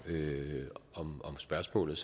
om spørgsmålet